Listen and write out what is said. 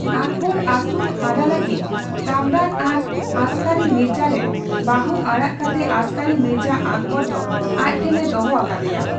ᱟᱠᱵᱚᱨ ᱟᱹᱥᱩᱞᱼᱦᱟᱨᱟ ᱞᱟᱹᱜᱤᱫ ᱠᱟᱢᱨᱟᱱ ᱟᱨ ᱟᱥᱠᱟᱹᱨᱤ ᱢᱤᱨᱡᱟ ᱨᱮᱱ ᱵᱟᱹᱦᱩ ᱟᱲᱟᱜ ᱠᱟᱛᱮ ᱟᱥᱠᱟᱹᱨᱤ ᱢᱤᱨᱡᱟ ᱟᱠᱵᱚᱨ ᱫᱚ ᱟᱡᱴᱷᱮᱱ ᱮ ᱫᱚᱦᱚ ᱟᱠᱟᱫᱮᱭᱟ ᱾